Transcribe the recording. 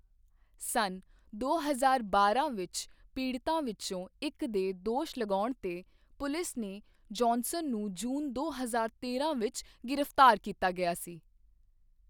ਸੰਨ ਦੋ ਹਜ਼ਾਰ ਬਾਰਾਂ ਵਿੱਚ ਪੀੜਤਾਂ ਵਿਚੋਂ ਇੱਕ ਦੇ ਦੋਸ਼ ਲਗਾਉਣ ਤੇ ਪੁਲਿਸ ਨੇ ਜੌਹਨਸਨ ਨੂੰ ਜੂਨ ਦੋ ਹਜ਼ਾਰ ਤੇਰਾਂ ਵਿੱਚ ਗ੍ਰਿਫਤਾਰ ਕੀਤਾ ਗਿਆ ਸੀ।